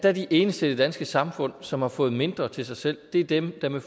er de eneste i det danske samfund som har fået mindre til sig selv dem der med